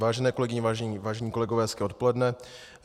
Vážené kolegyně, vážení kolegové, hezké odpoledne.